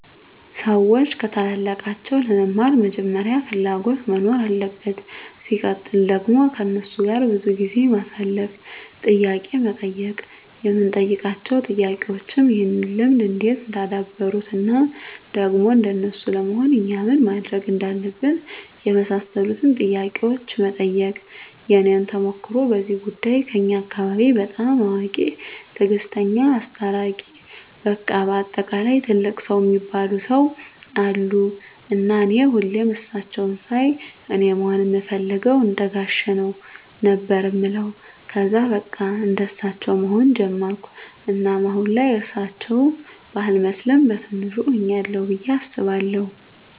ሰዎች ከታላላቃቸው ለመማር መጀመሪያ ፍላጎት መኖር አለበት ሲቀጥል ደግሞ ከነሱ ጋር ብዙ ጊዜ ማሳለፍ፣ ጥያቄ መጠየቅ የምንጠይቃቸው ጥያቄዎችም ይህን ልምድ እንዴት እንዳደበሩት እና ደግሞ እንደነሱ ለመሆን እኛ ምን ማድረግ እንዳለብን የመሳሰሉትን ጥያቄዎች መጠየቅ። የኔን ተሞክሮ በዚህ ጉዳይ ከኛ አካባቢ በጣም አዋቂ፣ ትግስተኛ፣ አስታራቂ በቃ በአጠቃላይ ትልቅ ሰው እሚባሉ ሰው አሉ እና እኔ ሁሌም እሳቸውን ሳይ አኔ መሆን እምፈልገው እንደጋሼ ነው ነበር እምለው ከዛ በቃ እንደሳቸው መሆን ጀመርኩ እናም አሁን ላይ እርሳቸው ባልመስልም በቲንሹ ሁኛለሁ ብዬ አስባለሁ።